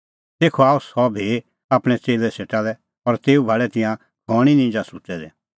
तेखअ आअ सह भी आपणैं च़ेल्लै सेटा लै और तेऊ भाल़ै तिंयां घणीं निंजा सुत्तै दै